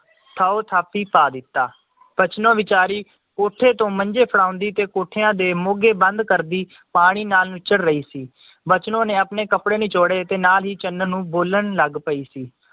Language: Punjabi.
ਥੌ ਥਾਪੀ ਪਾ ਦਿੱਤਾ ਬਚਨੋ ਵੇਚਾਰੀ ਕੋਠੇ ਤੋਂ ਮੰਜੇ ਫੜਾਉਂਦੀ ਤੇ ਕੋਠਿਆਂ ਦੇ ਮੋਗੇ ਬੰਦ ਕਰਦੀ ਪਾਣੀ ਨਾਲ ਨੁੱਚੜ ਰਹੀ ਸੀ ਬਚਨੋ ਨੇ ਆਪਣੇ ਕਪੜੇ ਨਿਚੋੜੇ ਤੇ ਨਾਲ ਹੀ ਚੰਨਨ ਨੂੰ ਬੋਲਣ ਲੱਗ ਪਈ ਸੀ